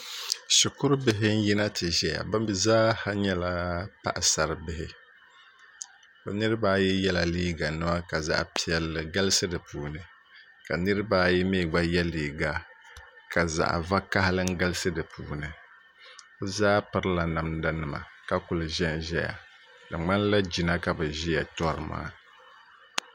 Shukuru bihi n yina ti zaya bɛmi zaaha nyɛla paɣasaribihi bɛ niribaayi yela liiga nima ka zaɣa piɛlli galisi dipuuni ka Niriba ayi mi gba ye liiga ka zaɣa vakahali n galisi dipuuni bɛzaa pirila namdanima ka kuli ʒɛnʒɛya di ŋmanila jina ka bɛ ʒia torimaa.